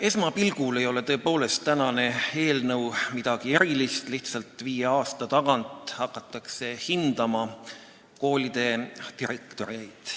Esmapilgul ei ole tänane eelnõu midagi erilist – lihtsalt viie aasta tagant hakatakse hindama koolide direktoreid.